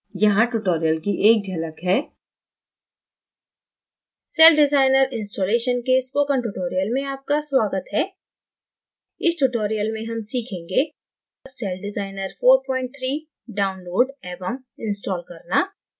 यहाँ tutorial की एक झलक है